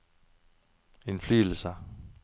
innflytelse